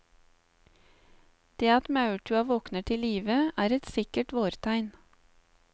Det at maurtua våkner til live er et sikkert vårtegn.